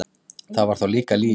Það var þá líka líf!